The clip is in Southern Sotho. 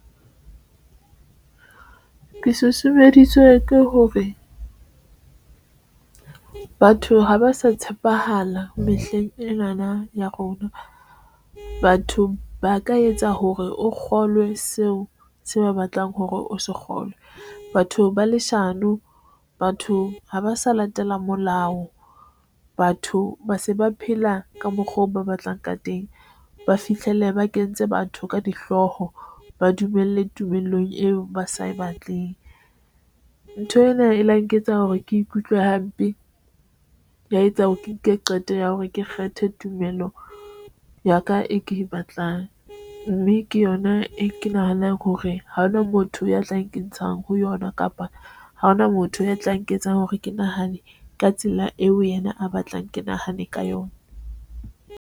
Ke susumeditswe ke hore batho ha ba sa tshepahala mehleng ena na ya rona. Batho ba ka etsa hore o kgolwe seo se ba batlang hore o se kgolwe. Batho ba leshano batho ha ba sa latela molao, batho ba se ba phela ka mokgwa oo ba batlang ka teng, ba fihlele ba kentse batho ka dihlooho, ba dumelle tumelong eo ba sa e batleng. Ntho ena e la nketsa hore ke ikutlwe hampe, ya etsa hore ke nke qeto ya hore ke kgethe tumelo ya ka e ke e batlang mme ke yona e ke nahanang hore ha hona motho ya tla nke ntshang ho yona, kapa ha hona motho ya tla nketsang hore ke nahane ka tsela eo yena a batlang ke nahane ka yona.